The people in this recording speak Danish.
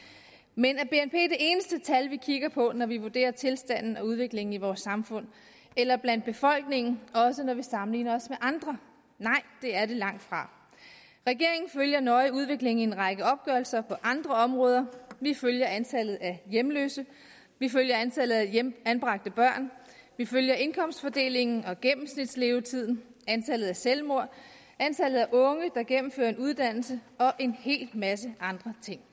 men er bnp det eneste tal vi kigger på når vi vurderer tilstanden og udviklingen i vores samfund eller blandt befolkningen også når vi sammenligner os med andre nej det er det langtfra regeringen følger nøje udviklingen i en række opgørelser på andre områder vi følger antallet af hjemløse vi følger antallet af anbragte børn vi følger indkomstfordelingen og gennemsnitslevetiden antallet af selvmord antallet af unge der gennemfører en uddannelse og en hel masse andre ting